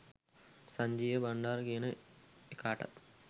සංජීව බංඩාර කියන එකාටත්